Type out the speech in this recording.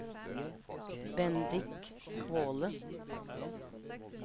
Bendik Kvåle